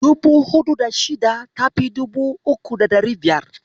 Dubu huɗu da shida ta fi dubu uku da ɗari biyar.